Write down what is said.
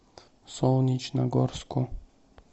солнечногорску